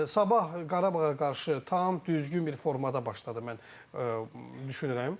Sabah Qarabağa qarşı tam düzgün bir formada başladı mən düşünürəm.